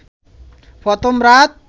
প্রথম রাত